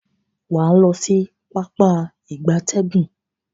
Waa lo si Pápá ìgbatẹ́gùn.